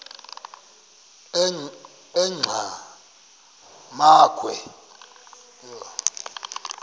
enqgamakhwe